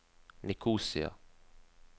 Nikosia